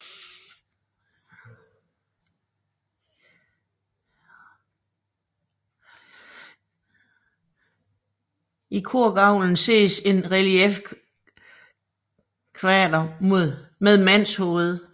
I korgavlen ses en reliefkvader med mandshoved